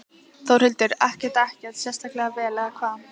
Þórhildur: Ekkert, ekkert sérstaklega vel eða hvað?